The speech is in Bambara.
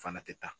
Fana tɛ taa